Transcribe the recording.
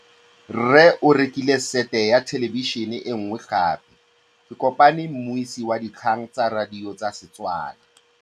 Rre o rekile sete ya thêlêbišênê e nngwe gape. Ke kopane mmuisi w dikgang tsa radio tsa Setswana.